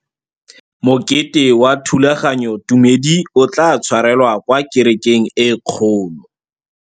Mokete wa thulaganyôtumêdi o tla tshwarelwa kwa kerekeng e kgolo.